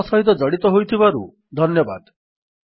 ଆମ ସହିତ ଜଡ଼ିତ ହୋଇଥିବାରୁ ଧନ୍ୟବାଦ